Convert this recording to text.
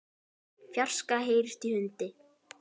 fjarska heyrist í hundi.